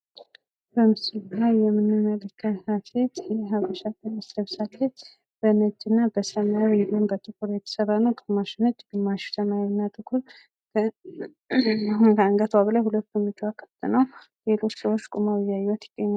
በምስሉ ላይ የምንመለከታት ልጅ የሀበሻ ቀሚስ ለብሳለች። በነጭ እና በሰማያዊ እንዲሁም በጥቁር የተሰራ ነው ። ግማሽ ነጭ ግማሽ ሰማያዊ እና ጥቁር ከአንገቶ በላይ ሁለት ጎኖቿ ክፍት ነው ሌሎች ሰዎች ቁመው እያዩአት ይገኛሉ ።